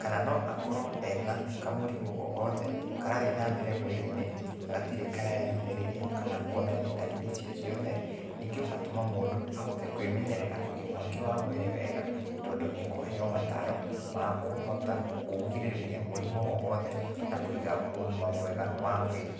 kana no akorwo ena kamũrimũ ogothe, karathiĩ nambere mwĩrĩ-inĩ, na gatirĩ kareyumĩrĩria, kana kuonania ndariri icio ciothe, ningĩ ũgatũma mũndũ ahote kwĩmenyerera ũgima wake wa mwĩrĩ wega, tondũ nĩekũheo mataro, ma kũhota kũgirĩrĩria mũrimũ o wothe na kũiga ũgima mwega wa mwĩrĩ.